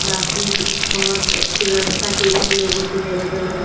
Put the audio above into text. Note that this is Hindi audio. बाकी बहोत अच्छी व्यवस्था की गए लोगों के लिए अलग अलग --